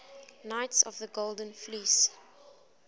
knights of the golden fleece